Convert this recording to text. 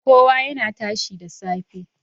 Kowa yana tashi da safe.